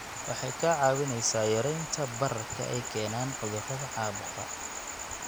Waxay kaa caawinaysaa yaraynta bararka ay keenaan cudurrada caabuqa.